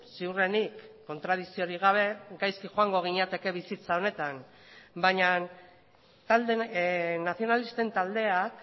ziurrenik kontradikziorik gabe gaizki joango ginateke bizitza honetan baina nazionalisten taldeak